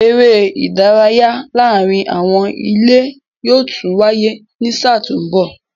Eré ìdárayá láàárín àwọn ilé yóò tún wáyé ní sáà tó mbọ̀